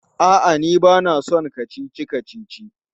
A'a, ni ba na son kacici-kacici.